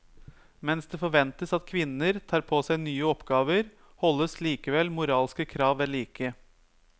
Mens det forventes at kvinner tar på seg nye oppgaver, holdes likevel moralske krav vedlike.